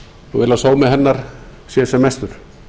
og vil að sómi hennar sé sem mestur